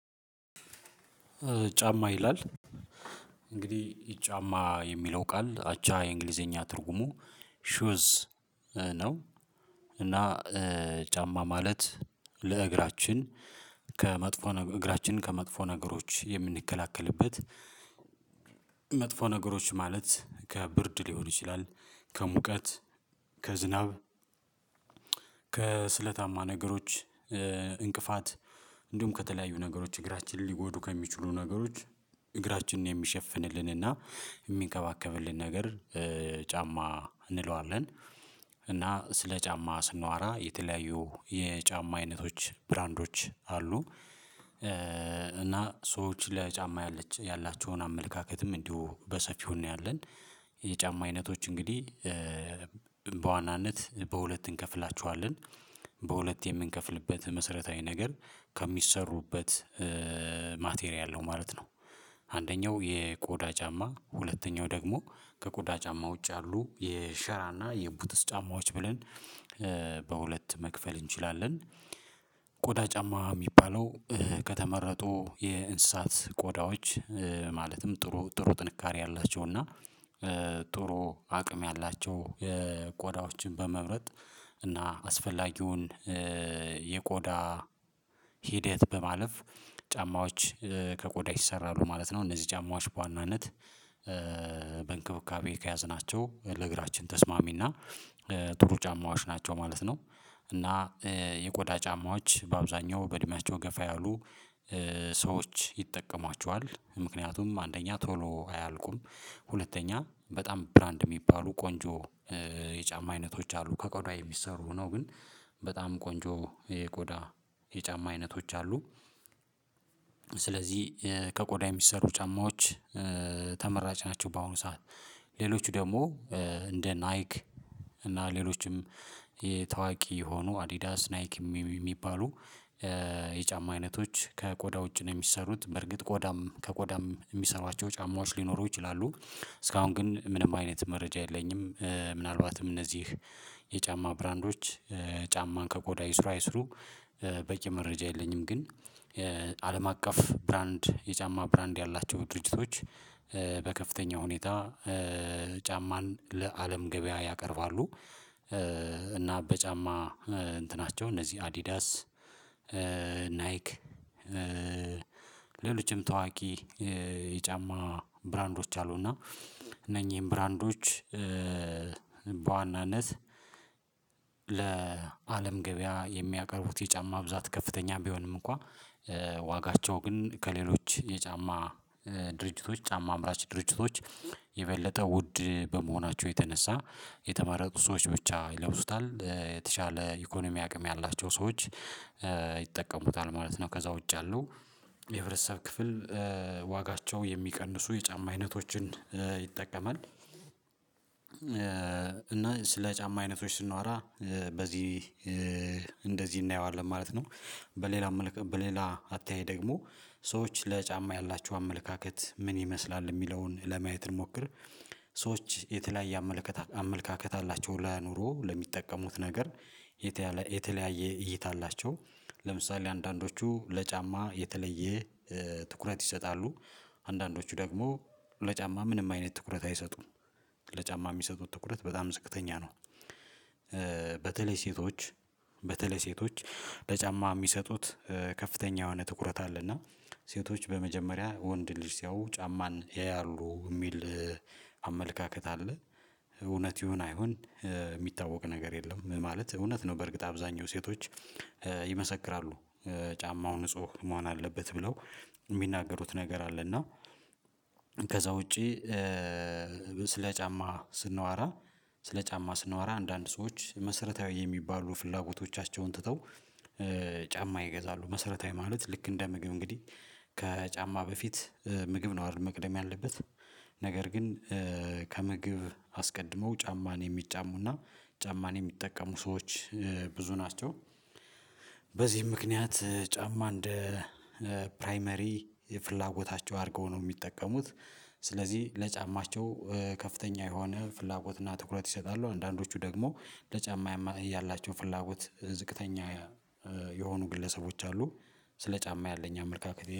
ጫማ ይላል እንግዲህ ጫማ የሚለው ቃል አቻ የእንግሊዘኛ ትርጉሙ ሹዝ ነው። እና ጫማ ማለት ለእግራችን ከመጥፎ እግራችን ከመጥፎ ነገሮች የምንከላከልበት መጥፎ ነገሮች ማለት ከብርድ ሊሆን ይችላል። ከሙቀት ከዝናብ ከስለታማ ነገሮች እንቅፋት እንዲሁም ከተለያዩ ነገሮች እግራችንን ሊጎዱ ከሚችሉ ነገሮች እግራችንን የሚሸፍንልንና የሚንከባከብልን ነገር ጫማ እንለዋለን። እና ስለ ጫማ ስንዋራ የተለያዩ የጫማ አይነቶች ብራንዶች አሉ እና ሰዎች ለጫማ ያላቸውን አመለካከትም እንዲሁ በሰፊው እናያለን። የጫማ አይነቶች እንግዲህ በዋናነት በሁለት እንከፍላችኋለን በሁለት የምንከፍልበት መሰረታዊ ነገር ከሚሰሩበት ማቴሪያል ነው ማለት ነው። አንደኛው የቆዳ ጫማ ሁለተኛው ደግሞ ከቆዳ ጫማ ውጭ ያሉ የሸራና የቡተስ ጫማዎች ብለን በሁለት መክፈል እንችላለን። ቆዳ ጫማ የሚባለው ከተመረጡ የእንስሳት ቆዳዎች ማለትም ጥሩ ጥሩ ጥንካሬ ያላቸው እና ጥሩ አቅም ያላቸው የቆዳዎችን በመምረጥ እና አስፈላጊውን የቆዳ ሂደት በማለፍ ጫማዎች ከቆዳ ይሰራሉ ማለት ነው። እነዚህ ጃማዎች በዋናነት በእንክብካቤ ከያዘ ናቸው ለእግራችን ተስማሚና ጥሩ ጫማዎች ናቸው ማለት ነው። እና የቆዳ ጫማዎች በአብዛኛው በእድሜያቸው ገፋ ያሉ ሰዎች ይጠቀሟቸዋል ምክንያቱም አንደኛ ቶሎ አያልቁም። ሁለተኛ በጣም ብራንድ የሚባሉ ቆንጆ የጫማ አይነቶች አሉ ከቆዳዬ የሚሰሩ ነው ግን በጣም ቆንጆ የቆዳ የጫማ አይነቶች አሉ። ስለዚህ ከቆዳ የሚሰሩ ጫማዎች ተመራጭ ናቸው በአሁኑ ሰዓት ሌሎች ደግሞ እንደ ናይክ እና ሌሎችም የታዋቂ የሆኑ አዲዳስ ናይክ የሚባሉ የጫማ አይነቶች ከቆዳ ውጭ ነው የሚሰሩት በርግጥ ቆዳም ከቆዳም የሚሰሩዋቸው ጫማዎች ሊኖሩ ይችላሉ። እስካሁን ግን ምንም አይነት መረጃ የለኝም ምናልባትም እነዚህ የጫማ ብራንዶች ጫማን ከጎዳ ይስሩ አይስሩ በየመረጃ የለኝም። ግን አለም አቀፍ ብራንድ የጫማ ብራንድ ያላቸው ድርጅቶች በከፍተኛ ሁኔታ ጫማን ለአለም ገበያ ያቀርባሉ። እና በጫማ እንትናቸው እነዚህ አዲዳስ ናይክ ሌሎችም ታዋቂ የጫማ ብራንዶች አሉ። እና እነኚህን ብራንዶች በዋናነት ለአለም ገበያ የሚያቀርቡት የጫማ ብዛት ከፍተኛ ቢሆንም እንኳን ዋጋቸው ግን ከሌሎች የጫማ ድርጅቶች ጫማ አምራች ድርጅቶች የበለጠ ውድ በመሆናቸው የተነሳ የተመረጡ ሰዎች ብቻ ይለብሱታል የተሻለ ኢኮኖሚ አቅም ያላቸው ሰዎች ይጠቀሙታል ማለት ነው። ከዛ ውጭ ያለው የህብረተሰብ ክፍል ዋጋቸው የሚቀንሱ የጫማ አይነቶችን ይጠቀማል እና ስለ ጫማ አይነቶች ስንዋራ በዚህ እንደዚህ እናየዋለን ማለት ነው። በሌላ በሌላ አተያይ ደግሞ ሰዎች ለጫማ ያላቸው አመለካከት ምን ይመስላል የሚለውን ለማየት እንሞክር። ሰዎች የተለያየ አመለካከት አመለካከት አላቸው ለኑሮ ለሚጠቀሙት ነገር የተለያየ እይታ አላቸው። ለምሳሌ አንዳንዶቹ ለጫማ የተለየ ትኩረት ይሰጣሉ አንዳንዶቹ ደግሞ ለጫማ ምንም አይነት ትኩረት አይሰጡም ለጫማ የሚሰጡት ትኩረት በጣም ዝቅተኛ ነው። በተለይ ሴቶች በተለይ ሴቶች በጫማ የሚሰጡት ከፍተኛ የሆነ ትኩረት አለና ሴቶች በመጀመሪያ ወንድ ልጅ ሲያዩ ጫማን ያያሉ የሚል አመለካከት አለ። እውነት ይሁን አይሁን የሚታወቅ ነገር የለም ማለት እውነት ነው። በእርግጥ አብዛኛው ሴቶች ይመሰክራሉ ጫማው ንጹህ መሆን አለበት ብለው የሚናገሩት ነገር አለ። እና ከዛ ውጪ ስለ ጫማ ስንዋራ ስለ ጫማ ስንዋራ አንዳንድ ሰዎች መሰረታዊ የሚባሉ ፍላጎቶቻቸውን ትተው ጫማ ይገዛሉ መሰረታዊ ማለት ልክ እንደ ምግብ እንግዲህ ከጫማ በፊት ምግብ ነው አይደል መቅደም ያለበት ነገር ግን ከምግብ አስቀድመው ጫማን የሚጫሙና ጫማን የሚጠቀሙ ሰዎች ብዙ ናቸው። በዚህ ምክንያት ጫማ እንደ ፕራይመሪ የፍላጎታቸው አድርገው ነው የሚጠቀሙት። ስለዚህ ለጫማቸው ከፍተኛ የሆነ ፍላጎትና ትኩረት ይሰጣሉ አንዳንዶቹ ደግሞ ለጫማ ያላቸው ፍላጎት ዝቅተኛ የሆኑ ግለሰቦች አሉ። ስለ ጫማ ያለኝ አመለካከት